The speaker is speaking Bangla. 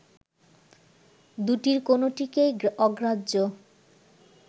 দুটির কোনোটিকেই অগ্রাহ্য